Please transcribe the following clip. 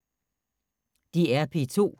DR P2